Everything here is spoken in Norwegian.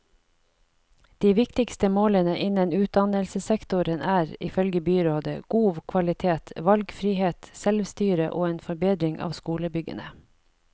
De viktigste målene innen utdannelsessektoren er, ifølge byrådet, god kvalitet, valgfrihet, selvstyre og en forbedring av skolebyggene.